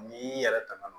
N'i y'i yɛrɛ tanga